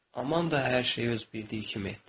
Amanda hər şeyi öz bildiyi kimi etdi.